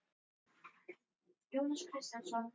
En sjá þær fyrir sér að setjast að á Akureyri í framtíðinni?